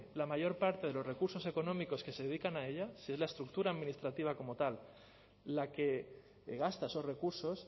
la mayor parte de los recursos económicos que se dedican a ella si es la estructura administrativa como tal la que gasta esos recursos